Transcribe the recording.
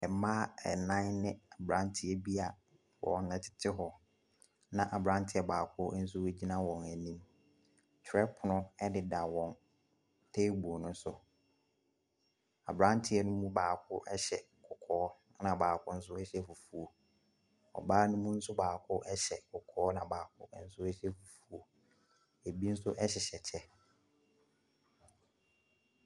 Mmaa ɛnan ne abranteɛ bi a wɔtete hɔ. Na abranteɛ baako nso gyina hɔ. Twerɛpono ɛdeda teebol no so. Abranteɛ no mu baako ɛhyɛ kɔkɔɔ ɛna baako nso ɛhyɛ fufuo. Ɔbaa no mu baako nso ɛhyɛ kɔkɔɔ na baako ɛhyɛ fufuo. Ebi nso ɛhyehyɛ kyɛ.